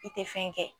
I tɛ fɛn kɛ